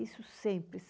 Isso sempre.